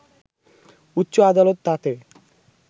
উচ্চ আদালত তাতে